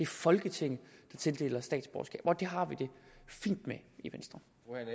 folketinget der tildeler statsborgerskab og det har vi det fint med i venstre